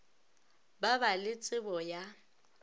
ba ba le tšebo ya